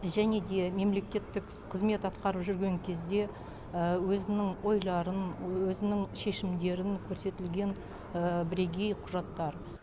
және де мемлекеттік қызмет атқарып жүрген кезде өзінің ойларын өзінің шешімдерін көрсетілген бірегей құжаттар